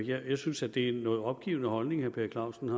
jeg synes at det er en noget opgivende holdning herre per clausen